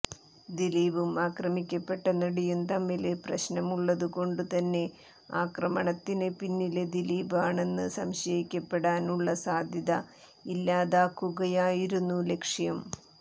ദിലീപും ആക്രമിക്കപ്പെട്ട നടിയും തമ്മില് പ്രശ്നമുള്ളതു കൊണ്ടു തന്നെ ആക്രമണത്തിന് പിന്നില് ദിലീപ് ആണെന്ന് സംശയിക്കപ്പെടാനുള്ള സാധ്യത ഇല്ലാതാക്കുകയായിരുന്നു ലക്ഷ്യം